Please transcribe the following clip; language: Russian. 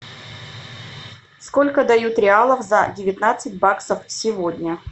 сколько дают реалов за девятнадцать баксов сегодня